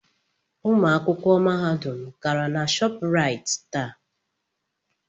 Ụmụ akwụkwọ Mahadum gara na Shopraịt taa.